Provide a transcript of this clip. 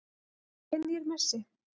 Er ég nýr Messi?